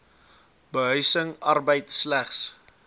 behuising arbeid slegs